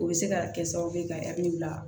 O bɛ se ka kɛ sababu ye ka bila